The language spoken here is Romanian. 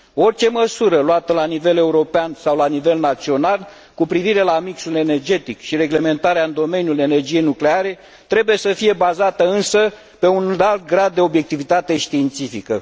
Orice măsură luată la nivel european sau la nivel național cu privire la mixul energetic și reglementarea în domeniul energiei nucleare trebuie să fie însă bazată pe un înalt grad de obiectivitate științifică.